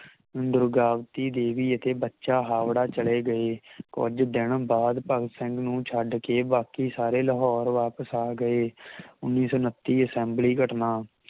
ਦੁਰਗਾਵਤੀ ਦੇਵੀ ਅਤੇ ਬਚਾ ਹਾਵੜਾ ਚਲੇ ਗਏ ਕੁਜ ਦਿਨ ਬਾਅਦ ਭਗਤ ਸਿੰਘ ਨੂੰ ਛੱਡ ਕੇ ਬਾਕੀ ਸਾਰੇ ਲਾਹੌਰ ਵਾਪਸ ਆਗਏ ਉੱਨੀ ਸੌ ਉੱਨਤੀ ਅਸੇੰਬਲੀ ਘਟਨਾ